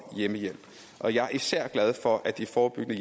hjemmehjælp jeg er især glad for at de forebyggende